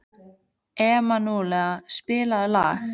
Emanúela, spilaðu lag.